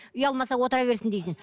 ұялмаса отыра берсін дейсің